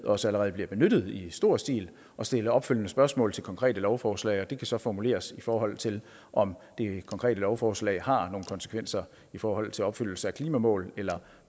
også allerede bliver benyttet i stor stil at stille opfølgende spørgsmål til konkrete lovforslag og det kan så formuleres i forhold til om det konkrete lovforslag har nogen konsekvenser i forhold til opfyldelse af klimamål eller